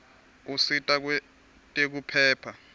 usita kwetekuphepha